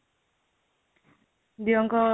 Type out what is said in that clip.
ଦିଅଁଙ୍କ